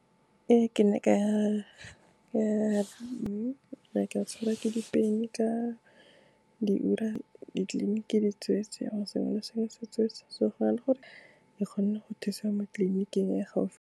Ee, ke ne ka ya ke ne ka tshwarwa ke di-pain-e ka diura, ditleliniki di tsweetswe and sengwe le sengwe se tsweetswe, so gona le gore ke kgone go thusa mo tleliniking e gaufi.